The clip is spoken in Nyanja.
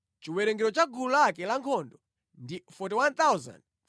Chiwerengero cha gulu lake lankhondo ndi 41,500.